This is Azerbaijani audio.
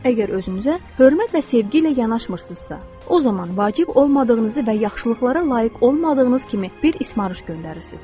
Əgər özünüzə hörmət və sevgi ilə yanaşmırsınızsa, o zaman vacib olmadığınızı və yaxşılıqlara layiq olmadığınız kimi bir ismarış göndərirsiz.